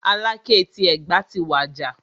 Aláké ti Ẹ̀gbá ti wàjà.